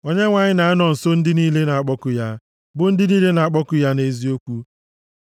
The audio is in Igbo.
Onyenwe anyị na-anọ nso ndị niile na-akpọku ya, bụ ndị niile na-akpọku ya nʼeziokwu.